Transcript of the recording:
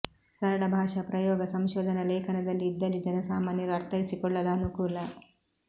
ಸರಳ ಭಾಷಾ ಪ್ರಯೋಗ ಸಂಶೋಧನಾ ಲೇಖನದಲ್ಲಿ ಇದ್ದಲ್ಲಿ ಜನಸಾಮಾನ್ಯರು ಅರ್ಥೈಸಿಕೊಳ್ಳಲು ಅನುಕೂಲ